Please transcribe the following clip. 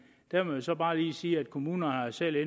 der må man så bare lige sige at kommunerne selv